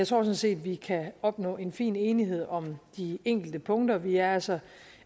sådan set vi kan opnå en fin enighed om de enkelte punkter vi er altså